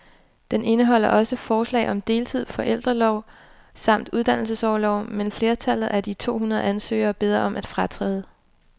Den indeholder også forslag om deltid, forældreorlov samt uddannelsesorlov, men flertallet af de to hundrede ansøgere beder om at fratræde.